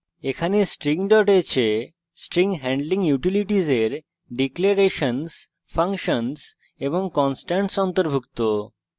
এখানে string h এ string handling utilities এর declarations functions constants অন্তর্ভুক্ত